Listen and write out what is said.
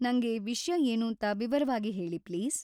ನಂಗೆ ವಿಷ್ಯ ಏನೂಂತ ವಿವರವಾಗಿ ಹೇಳಿ ಪ್ಲೀಸ್.